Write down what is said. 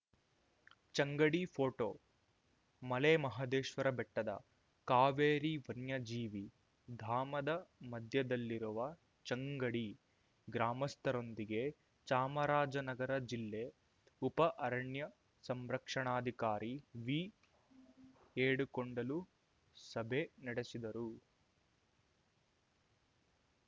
ಚಂಗಡಿಫೋಟೋ ಮಲೆಮಹದೇಶ್ವರ ಬೆಟ್ಟದ ಕಾವೇರಿ ವನ್ಯಜೀವಿ ಧಾಮದ ಮಧ್ಯದಲ್ಲಿರುವ ಚಂಗಡಿ ಗ್ರಾಮಸ್ಥರೊಂದಿಗೆ ಚಾಮರಾಜನಗರ ಜಿಲ್ಲೆ ಉಪ ಅರಣ್ಯಾ ಸಂರಕ್ಷಣಾಧಿಕಾರಿ ವಿಏಡುಕೊಂಡಲು ಸಭೆ ನಡೆಸಿದರು